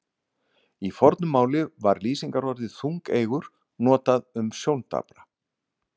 Í fornu máli var lýsingarorðið þungeygur notað um sjóndapra.